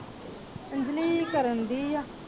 ਅੰਜਲੀ ਕਰਨ ਡਈ ਆ